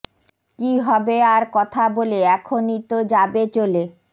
কি হবে আর কথা বলে এখনই তো যাবে চলে